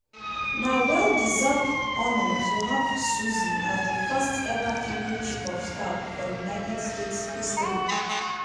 "na well deserved honour to have susie as di first-eva female chief of staff for united states history.